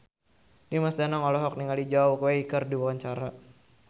Dimas Danang olohok ningali Zhao Wei keur diwawancara